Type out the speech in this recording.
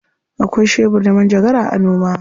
Akwai shebur da manjagara a noma.